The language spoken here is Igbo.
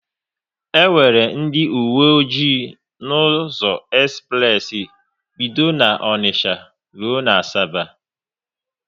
E nwere ndị owe ọjị n'ụzọ espress bido n'Onicha rụọ n'Asaba